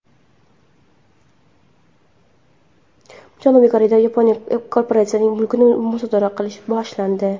Janubiy Koreyada yapon korporatsiyasining mulkini musodara qilish boshlandi.